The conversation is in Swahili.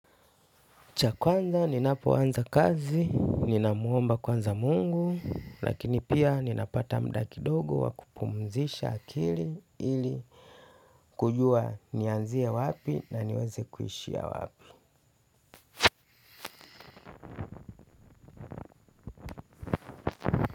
Cha kwanza, ninapoanza kazi, ninamwomba kwanza mungu, lakini pia ninapata mda kidogo wa kupumzisha akili ili kujua nianzie wapi na niweze kuishia wapi.